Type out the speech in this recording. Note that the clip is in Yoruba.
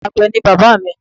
Àgbẹ̀ ni bàbá mi